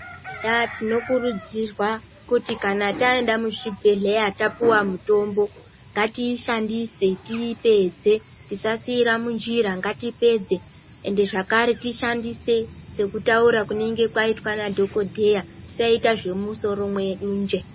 Ya tinokurudzirwa kuti kana taenda muzvibhedhleya tapuwa mutombo ngatiishandise tiipedze tisasiira munjira ngatipedze ende zvakare tishandise sekutaura kunenga kwaitwa nadhokodheya tisaita zvemumusoro mwedu nje.